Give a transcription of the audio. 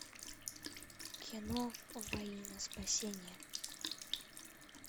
кино во имя спасения